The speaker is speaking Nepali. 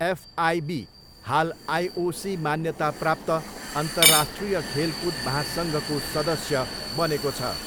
एफआइबी हाल आइओसी मान्यता प्राप्त अन्तर्राष्ट्रिय खेलकुद महासङ्घको सदस्य बनेको छ।